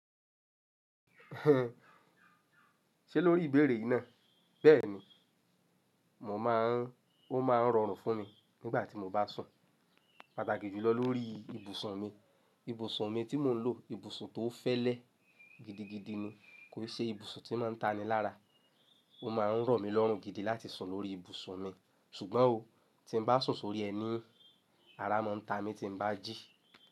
Ṣé lórí ìbéèrè náà? Bẹ́ẹ̀ ni, mo máa ń, ó máa ń rọrùn fún mi nígbà tí mo bá sùn, pàtàkì jùlọ lórí ibùsùn mi. Ibùsùn mi tí mò ń lò, ibùsùn tó fẹ́lẹ́ gidigidi ni, kò ṣe ibùsùn tí máa ń ta ni lára. Ó máa ń rọ̀ mí lọ́rùn gidi láti sùn lórí ibùsùn mi. Ṣùgbọ́n o, tí bá sùn sórí ẹní, ara máa ń ta mí tí bá jí.